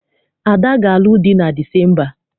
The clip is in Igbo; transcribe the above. Ada ga-alụ di na Disemba.